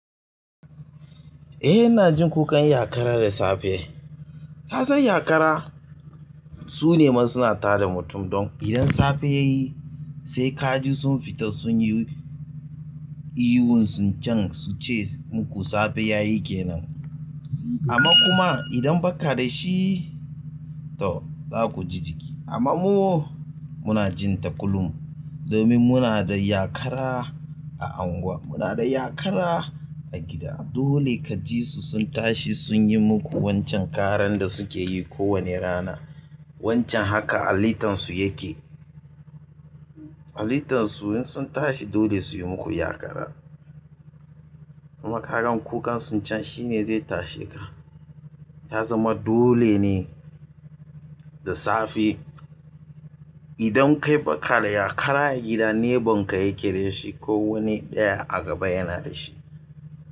Eh ina jin kukan zakara da safe. Ya san yakara su ne ma suna tada mutum. Don idan safe ya yi sai kaji sun fita sun yi ihu sun can su ce muku safe ya yi ke nan. Amma kuma idan ba ka da shi to za ku ji jiki. Amma mu muna jinta kullum domin muna da yakara a unguwa, muna da yakara a gida. Dole kajisu sun tashi sun yi muku wancan karan da suke yi kowane rana. Wancan haka halittansu yake. Halittansu in sun tashi dole su yi muku yakara. Amma kagan kukan sun can shi ne zai tashe ka. Ya zama dole ne da safe idan kai ba ka da yakara a gida, nebon ka yake da shi ko wani ɗaya a gaba yana da shi.